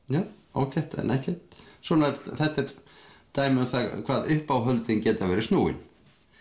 ágætt en ekkert þetta er dæmi um það hvað uppáhöldin geta verið snúin